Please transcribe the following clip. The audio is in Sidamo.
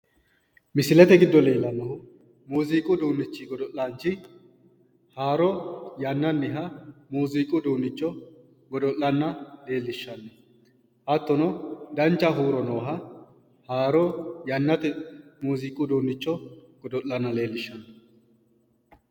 misilete giddo leellannohu muziiqu godo'laanchi haaro yannanniha muuziiqu uduunnicho godo'lanna leellishshanno hattono dancha huuro nooha haaro yannate muuziiqu uduunnicho godo'lanna leellishshanno.